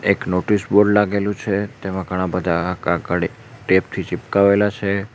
એક notice board લાગેલું છે તેમાં ઘણા બધા ટેપ થી ચિપકાવેલા છે.